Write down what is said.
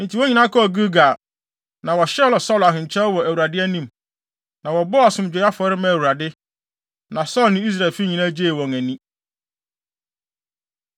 Enti wɔn nyinaa kɔɔ Gilgal, na wɔhyɛɛ Saulo ahenkyɛw wɔ Awurade anim. Na wɔbɔɔ asomdwoe afɔre maa Awurade, na Saulo ne Israelfo nyinaa gyee wɔn ani.